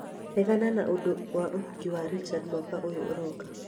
regana na ũndũ wa ũhiki wa Richard mwaka ũyũ ũroka